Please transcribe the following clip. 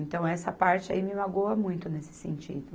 Então, essa parte aí me magoa muito nesse sentido.